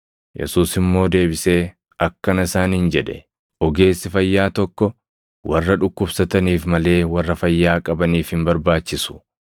Yesuus immoo deebisee akkana isaaniin jedhe; “Ogeessi fayyaa tokko warra dhukkubsataniif malee warra fayyaa qabaniif hin barbaachisu.